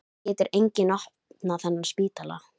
Það getur enginn opnað þennan spítala.